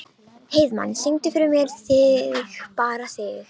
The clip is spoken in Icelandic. Heiðmann, syngdu fyrir mig „Þig bara þig“.